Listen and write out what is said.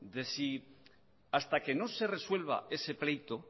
de si hasta que no se resuelva ese pleito